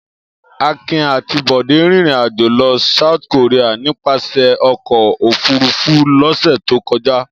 Akin àti Bọ̀dé rìnrìn-àjò lọ South Korea nípasẹ̀ ọkọ̀-òfurufú lọ́sẹ̀ tó kọjá.